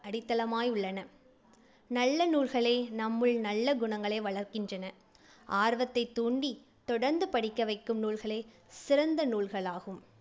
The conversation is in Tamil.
அடித்தளமாய் உள்ளன. நல்ல நூல்களே நம்முள் நல்ல குணங்களை வளர்க்கின்றன. ஆர்வத்தைத் தூண்டி தொடர்ந்து படிக்க வைக்கும் நூல்களே சிறந்த நூல்கள் ஆகும்.